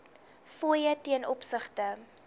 fooie ten opsigte